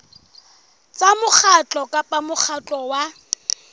tsa mokgatlo kapa mokgatlo wa